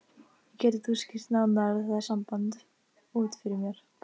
Getur þú skýrt nánar það samband út fyrir mér?